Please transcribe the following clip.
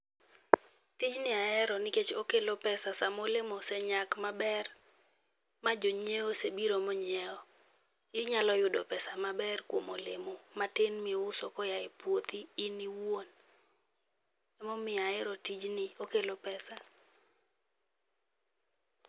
Tijni ahero nikech okelo pesa sama olemo osenyak maber, ma jonyiewo osenbiro monyiewo. Inyalo yudo pesa maber kuom olemo matin miuso koa e puothi in iwuon. Emomiyo ahero tijni, okelo pesa.